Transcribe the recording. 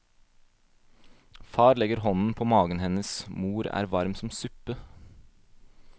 Far legger hånden på magen hennes, mor er varm som suppe.